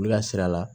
U ya sira la